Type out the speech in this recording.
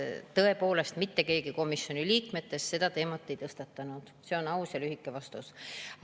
Tõepoolest, mitte keegi komisjoni liikmetest seda teemat ei tõstatanud, see on aus ja lühike vastus.